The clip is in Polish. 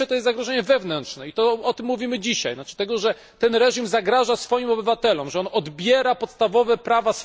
Pierwsze to jest zagrożenie wewnętrzne i o tym mówimy dzisiaj, to znaczy, że ten reżim zagraża swoim obywatelom i odbiera im podstawowe prawa.